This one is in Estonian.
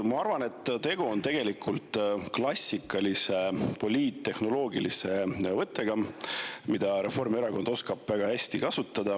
Ma arvan, et tegu on tegelikult klassikalise poliittehnoloogilise võttega, mida Reformierakond oskab väga hästi kasutada.